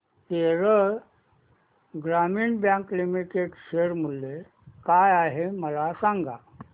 केरळ ग्रामीण bank limited share मूल्य काय आहे मला सांगा